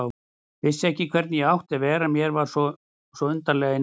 Vissi ekki hvernig ég átti að vera, mér var svo undarlega innanbrjósts.